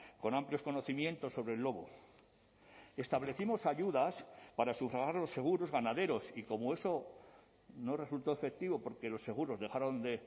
con amplios conocimientos sobre el lobo establecimos ayudas para sufragar los seguros ganaderos y como eso no resultó efectivo porque los seguros dejaron de